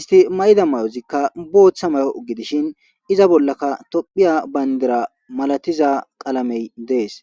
isti mayida mayozikka boththa mayo gidishinkka iza bollakka tophphiya bandiray malatiza medhoy dees.